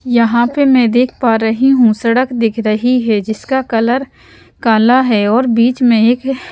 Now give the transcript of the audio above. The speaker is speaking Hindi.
यहाँ पे मैं देख पा रही हूं सड़क दिख रही है जिसका कलर काला है और बीच में एक --